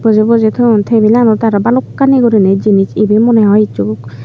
bojey bojey ton tebilanot aro balokani guri jjnis ebay moneh hoi hissu.